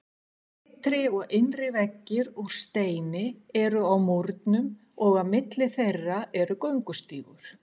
Ytri og innri veggir úr steini eru á múrnum og á milli þeirra er göngustígur.